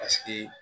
Paseke